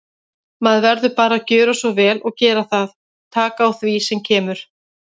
Maður verður bara að gjöra svo vel og gera það, taka á því sem kemur.